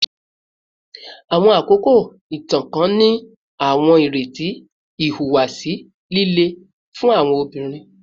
Awọn akoko itan kan ni awọn ireti ihuwasi lile fun awọn obinrin